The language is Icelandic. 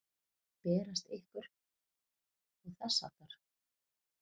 Berast ykkur. og þess háttar?